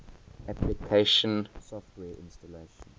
application software installation